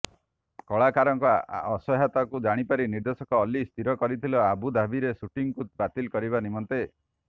କଳାକାରଙ୍କ ଅସହ୍ୟତାକୁ ଜାଣିପାରି ନିର୍ଦେଶକ ଅଲ୍ଲୀ ସ୍ଥିର କରିଥିଲେ ଆବୁଧାବିର ସୁଟିଂକୁ ବାତିଲ କରିବା ନିମନ୍ତେ